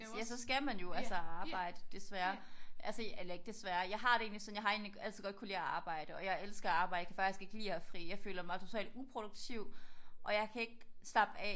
Ja så skal man jo altså arbejde desværre. Altså eller ikke desværre jeg har det egentlig sådan jeg har egentlig altid kunnet godt lide at arbejde. Og jeg elsker at arbejde. Jeg kan faktisk ikke lide at have fri. Jeg føler mig totalt uproduktiv og jeg kan ikke slappe af